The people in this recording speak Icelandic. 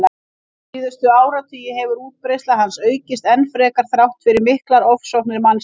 Síðustu áratugi hefur útbreiðsla hans aukist enn frekar þrátt fyrir miklar ofsóknir mannsins.